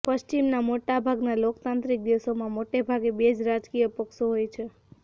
પશ્ચિમના મોટા ભાગના લોકતાંત્રિક દેશોમાં મોટેભાગે બે જ રાજકીય પક્ષો હોય છે